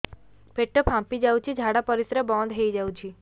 ପେଟ ଫାମ୍ପି ଯାଉଛି ଝାଡା ପରିଶ୍ରା ବନ୍ଦ ହେଇ ଯାଉଛି